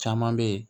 Caman bɛ yen